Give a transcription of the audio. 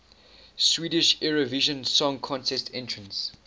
swedish eurovision song contest entrants